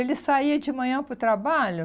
Ele saía de manhã para o trabalho.